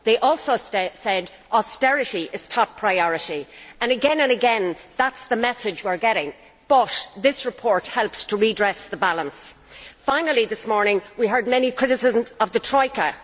they also said that austerity is top priority. Again and again that is the message we are getting, but this report helps to redress the balance. Finally, this morning we heard many criticisms of the Troika.